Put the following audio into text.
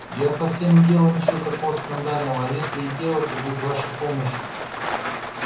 я вовсе не делала ничего такого скандального а если и делала то без вашей помощи